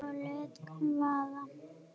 Og lét vaða.